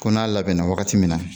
Ko n'a labɛnna wagati min na